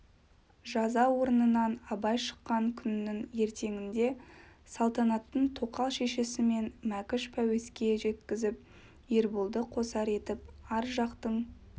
жаза орнынан абай шыққан күнінің ертеңінде салтанаттың тоқал шешесі мен мәкіш пәуеске жеккізіп ерболды қосар етіп ар жақтың